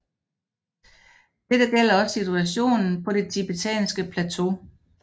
Dette gælder også situationen på det tibetanske plateau